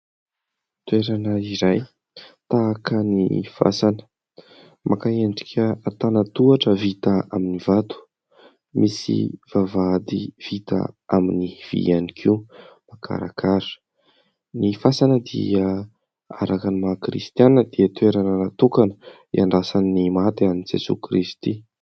Toerana iray, tahaka ny fasana. Maka endrika antana-tohatra vita amin'ny vato. Misy vavahady vita amin'ny vy ihany koa makarakara. Ny fasana dia araka ny maha kristianina dia toerana natokana hiandrasan'ny maty an'i Jesoa Kristy.